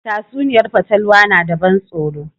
Tatsuniyar fatalwa na da ban tsoro